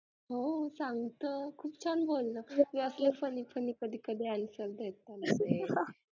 हो सांगत खूप छान बोललं ते असलं funny funny आयुष्यात